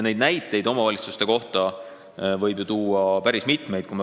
Neid näiteid omavalitsuste kohta võib tuua ju päris mitmeid.